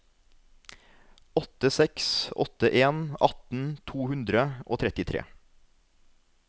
åtte seks åtte en atten to hundre og trettitre